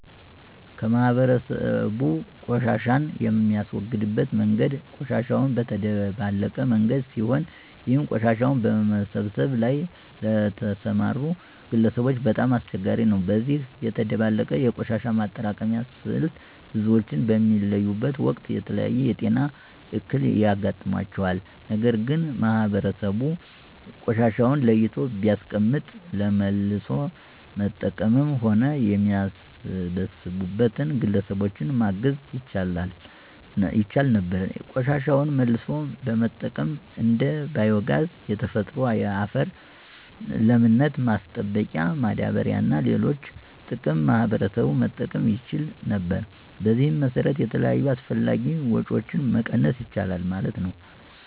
ማህበረሰቡ ቆሻሻን የሚያስወግድበት መንገድ ቆሻሻውን በተደባለቀ መንገድ ሲሆን ይህም ቆሻሻውን በመሰብሰብ ላይ ለተሰማሩ ግለሰቦች በጣም አስቸጋሪ ነው። በዚህ የተደባለቀ የቆሻሻ ማጠራቀሚያ ስልት ብዙዎች በሚለዩበት ወቅት የተለያየ የጤና እክል ያጋጥማቸዋል። ነገር ግን ማህበረሰቡ ቆሻሻውን ለይቶ ቢያስቀምጥ ለመልሶ መጠቀምም ሆነ የሚሰበሰብበትን ግለሰቦች ማገዝ ይቻል ነበር። ቆሻሻን መልሶ በመጠቀም እንደ ባዮ ጋዝ፣ የተፈጥሮ የአፈር ለምነት ማስጠበቂያ ማዳበሪያ እና ለሌሎች ጥቅም ማህበረሰቡ መጠቀም ይችል ነበር። በዚህም መሰረት የተለያዩ አላስፈላጊ ወጭዎችን መቀነስ ይቻላል ማለት ነው።